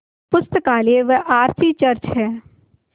पुस्तकालय व R C church हैं